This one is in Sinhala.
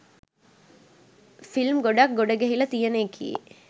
ෆිල්ම් ගොඩක් ගොඩ ගැහිල තියෙන එකේ